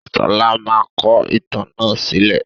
Sọlá máa kọ ìtàn náà sílẹ̀